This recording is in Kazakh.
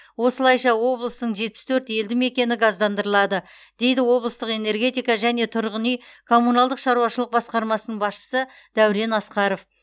осылайша облыстың жетпіс төрт елді мекені газдандырылады дейді облыстық энергетика және тұрғын үй коммуналдық шаруашылық басқармасының басшысы дәурен асқаров